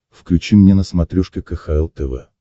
включи мне на смотрешке кхл тв